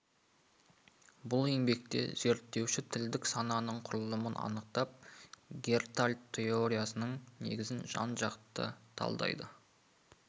бұл еңбекте зерттеуші тілдік сананың құрылымын анықтап гештальт теориясының негізін жан-жақты талдайды